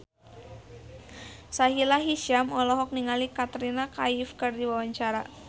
Sahila Hisyam olohok ningali Katrina Kaif keur diwawancara